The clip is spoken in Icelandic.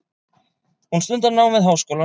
Hún stundar nám við háskólann.